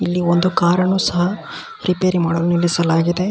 ಇಲ್ಲಿ ಒಂದು ಕಾರ ನ್ನು ಸಹ ರಿಪೇರಿ ಮಾಡಲು ನಿಲ್ಲಿಸಲಾಗಿದೆ .